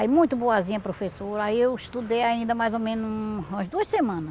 Aí muito boazinha a professora, aí eu estudei ainda mais ou menos umas duas semanas.